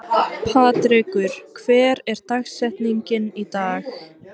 Patrekur, hver er dagsetningin í dag?